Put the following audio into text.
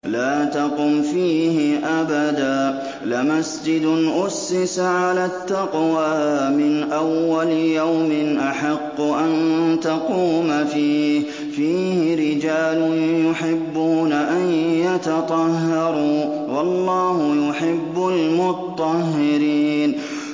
لَا تَقُمْ فِيهِ أَبَدًا ۚ لَّمَسْجِدٌ أُسِّسَ عَلَى التَّقْوَىٰ مِنْ أَوَّلِ يَوْمٍ أَحَقُّ أَن تَقُومَ فِيهِ ۚ فِيهِ رِجَالٌ يُحِبُّونَ أَن يَتَطَهَّرُوا ۚ وَاللَّهُ يُحِبُّ الْمُطَّهِّرِينَ